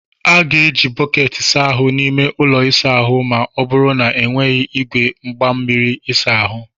A ga-eji bọket saa ahu n'ime ụlọ ịsa ahụ ma ọ bụrụ na ọ n'weghị igwe mgbamiri ịsa ahụ.